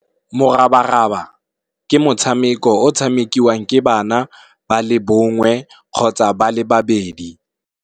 Morabaraba, ke motshameko o tshamekiwang ke bana ba le bongwe kgotsa ba le babedi.